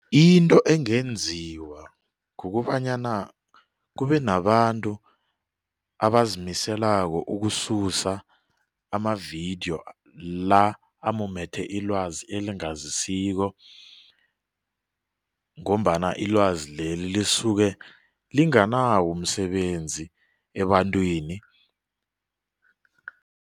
Into engenziwa kukobanyana kube nabantu abazimiselako ukususa amavidiyo la amumathe ilwazi elingazisiko ngombana ilwazi leli lisuke linganawo umsebenzi ebantwini.